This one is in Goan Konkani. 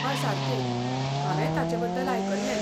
हय सारकें, हांवेंय ताचेबद्दल आयकल्लें.